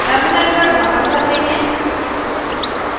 terminal पर वापस आते हैं